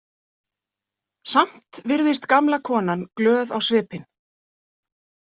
Samt virðist gamla konan glöð á svipinn.